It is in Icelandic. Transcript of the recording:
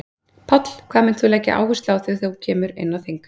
Páll: Hvað munt þú leggja áherslu á þegar þú kemur inn á þing?